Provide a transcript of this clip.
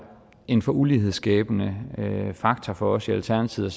en for ulighedsskabende faktor for os i alternativet